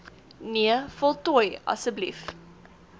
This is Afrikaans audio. nee voltooi asb